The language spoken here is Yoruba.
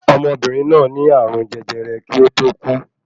Ọmọbìnrìn náà ní ààrùn jẹjẹrẹ kí ó tó kú.